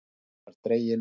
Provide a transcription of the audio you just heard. Jeppinn var dreginn upp.